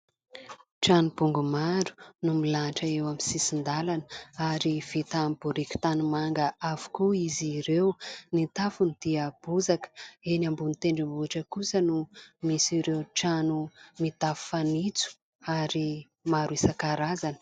Trano bongo maro no milahatra eo amin'ny sisin-dàlana ary vita amin'ny biriky tanimanga avokoa izy ireo, ny tafony dia bozaka eny ambony tendrombohitra kosa no misy ireo trano mitafo fanitso ary maro isan-karazany.